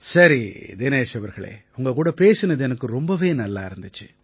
சரி தினேஷ் அவர்களே உங்க கூட பேசினது எனக்கு ரொம்பவே நல்லா இருந்திச்சு